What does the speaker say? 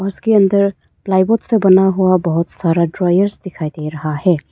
उसके अंदर ply board से बना हुआ बहुत सारा ड्रायर्स दिखाई दे रहा है।